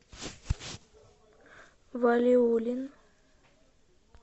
валиулин